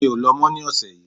Mi ò lọ mọ̀ ní ọ̀sẹ̀ yìí